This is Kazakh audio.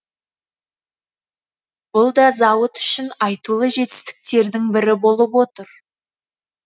бұл да зауыт үшін айтулы жетістіктердің бірі болып отыр